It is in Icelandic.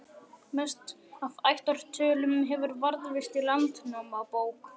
Mest af ættartölum hefur varðveist í Landnámabók.